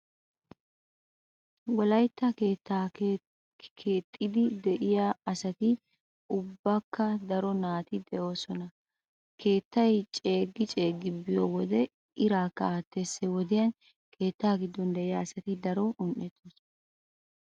Wolaytta keettaa keexxidi de"iyaa asati ubbakka daro naati de"iyoosan keettay ceeggi ceeggi biyo wode iraakka aattees. He wodiyan keetta giddon de"iya asati daro un"ettoosona.